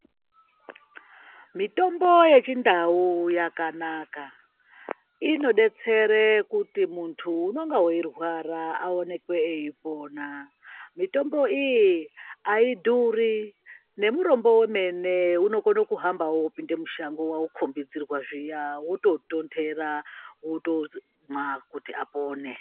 Mitombo yechindau yakanaka inodetsera kuti muntu unenge eirwara aonekwe eipona mutombo iyi aidhuri nemurombo wemene unokone kuhambawo opinde mushango waukombidzirwa zviya wototontera wotoe mwa kuti apone.